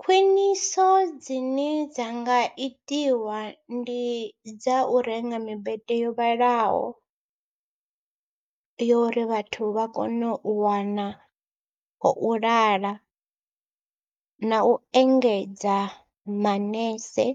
Khwiniso dzine dza nga itiwa ndi dza u renga mibete yo vhalaho yo ri vhathu vha kone u wana ho u lala na u engedza manese